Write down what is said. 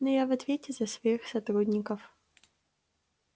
но я в ответе за своих сотрудников